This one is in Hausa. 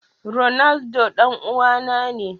Ronaldo dan uwana ne.